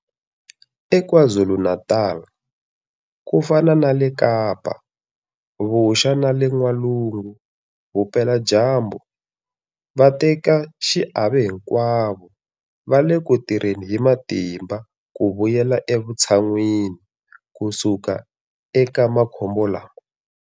eKwaZulu-Natal, ku fana na le Kapa Vuxa na le N'walungu Vupeladyambu, vatekaxiave hinkwavo va le ku tirheni hi matimba ku vuyela evutshan'wini ku suka eka makhombo lama.